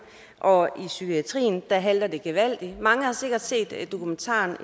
og i psykiatrien halter det gevaldigt mange har sikkert set dokumentaren